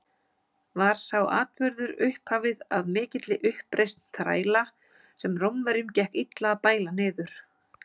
Var sá atburður upphafið að mikilli uppreisn þræla, sem Rómverjum gekk illa að bæla niður.